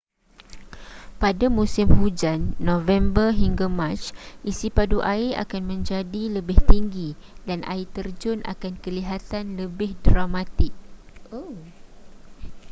pada musim hujan november hingga mac isi padu air akan menjadi lebih tinggi dan air terjun akan kelihatan lebih dramatik